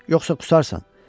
Yoxsa qusarsan.